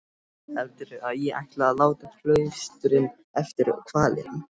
Heldurðu að ég ætli að láta klaustrinu eftir hvalinn?